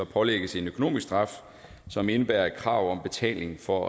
pålægges en økonomisk straf som indebærer et krav om betaling for